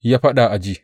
Ya faɗa a ji.